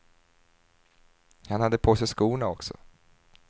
Han hade på sig skorna också.